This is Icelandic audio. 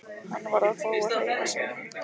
Hann varð að fá að hreyfa sig.